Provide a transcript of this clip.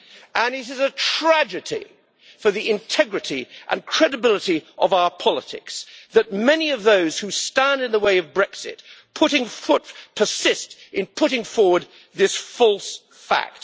And it is a tragedy for the integrity and credibility of our politics that many of those who stand in the way of Brexit persist in putting forward this false fact.